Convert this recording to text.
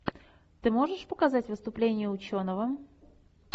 ты можешь показать выступление ученого